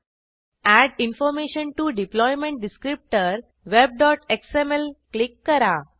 add information to deployment descriptor webएक्सएमएल click करा